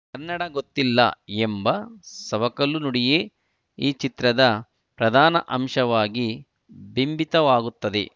ಕನ್ನಡ ಗೊತ್ತಿಲ್ಲ ಎಂಬ ಸವಕಲು ನುಡಿಯೇ ಈ ಚಿತ್ರದ ಪ್ರಧಾನ ಅಂಶವಾಗಿ ಬಿಂಬಿತವಾಗುತ್ತದೆ